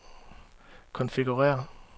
konfigurér